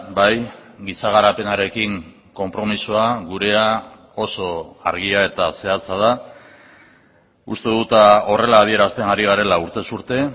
bai giza garapenarekin konpromisoa gurea oso argia eta zehatza da uste dut horrela adierazten ari garela urtez urte